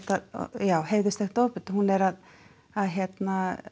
já ofbeldi hún er að að